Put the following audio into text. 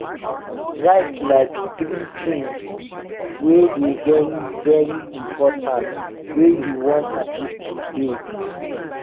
write like tiri tins wey dey very very important wey you wan achieve today